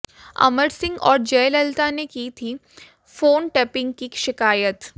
अमर सिंह और जयललिता ने की थी फोन टैपिंग की शिकायत